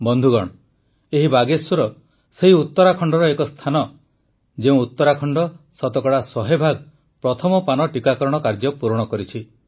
ବନ୍ଧୁଗଣ ଏହି ବାଗେଶ୍ୱର ସେହି ଉତ୍ତରାଖଣ୍ଡର ଏକ ସ୍ଥାନ ଯେଉଁ ଉତ୍ତରାଖଣ୍ଡ ଶତକଡ଼ା ୧୦୦ ଭାଗ ପ୍ରଥମ ପାନ ଟିକାକରଣ କାର୍ଯ୍ୟ ପୂରଣ କରିଛି